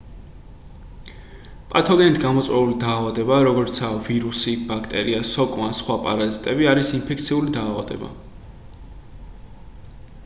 პათოგენით გამოწვეული დაავადება როგორიცაა ვირუსი ბაქტერია სოკო ან სხვა პარაზიტები არის ინფექციური დაავადება